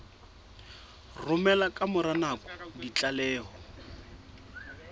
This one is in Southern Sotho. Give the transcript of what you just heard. romela ka mora nako ditlaleho